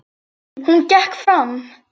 Hún gekk fram.